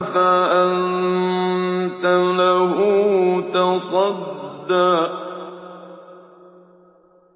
فَأَنتَ لَهُ تَصَدَّىٰ